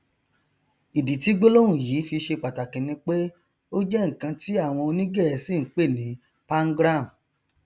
ìdí tí gbólóhùn yìí fi ṣe pàtàkì ni pé ó jẹ nkan tí àwọn onígẹẹsì npè ní pangram